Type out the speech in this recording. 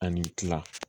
Ani kila